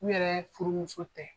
U yɛrɛ furumuso tɛ.